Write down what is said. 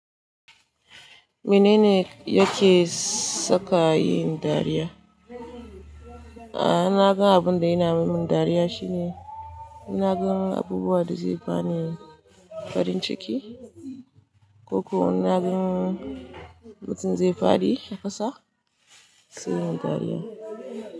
Mene ne yake sa ka yin dariya? A'a, naga abun da yana yi min dariya shine, in naga abubuwa da zai bani farin ciki, ko kuwa in naga mutum zai fadi a kasa, sai yi min dariya.